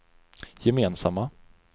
gemensamma